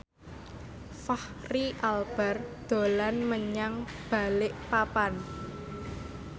Fachri Albar dolan menyang Balikpapan